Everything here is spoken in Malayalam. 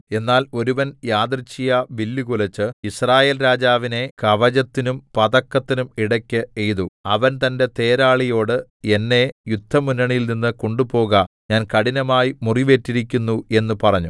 എന്നാൽ ഒരുവൻ യദൃച്ഛയാ വില്ലു കുലച്ച് യിസ്രായേൽരാജാവിനെ കവചത്തിനും പതക്കത്തിനും ഇടെക്ക് എയ്തു അവൻ തന്റെ തേരാളിയോട് എന്നെ യുദ്ധമുന്നണിയിൽനിന്ന് കൊണ്ടുപോക ഞാൻ കഠിനമായി മുറിവേറ്റിരിക്കുന്നു എന്ന് പറഞ്ഞു